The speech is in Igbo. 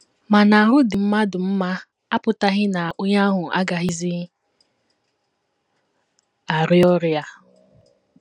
Ma, na ahụ́ dị mmadụ mma apụtaghị na onye ahụ agaghịzi arịa ọrịa.